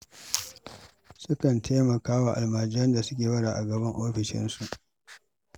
Sukan taimaka wa almajiran da suke bara a gaban ofishinsu.